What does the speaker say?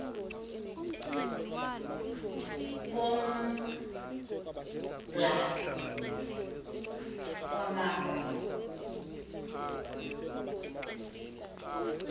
kombla wama ku